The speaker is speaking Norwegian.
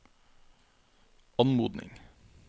anmodning